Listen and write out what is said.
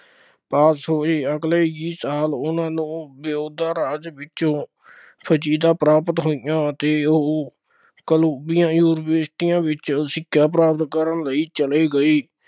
pass ਹੋਏ ਅਗਲੇ ਹੀ ਸਾਲ ਉਹਨਾ ਨੂੰ ਦਾ ਰਾਜ ਵਿੱਚੋਂ ਪ੍ਰਾਪਤ ਹੋਈਆਂ ਅਤੇ ਉਹ ਕੋਲੰਬੀਆਂ ਯੂਨੀਵਰਸਿਟੀਆਂ ਵਿੱਚ ਸਿੱਖਿਆ ਪ੍ਰਾਪਤ ਕਰਨ ਲਈ ਚਲੇ ਗਏ।